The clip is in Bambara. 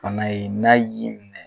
B'ana ye na y'i minnɛ.